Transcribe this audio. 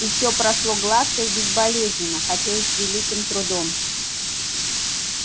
и все прошло гладко и безболезненно хотя и с великим трудом